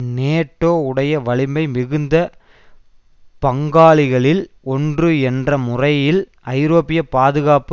NATO உடைய வலிமை மிகுந்த பங்காளிகளில் ஒன்று என்ற முறையில் ஐரோப்பிய பாதுகாப்பு